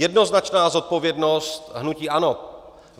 Jednoznačná zodpovědnost hnutí ANO.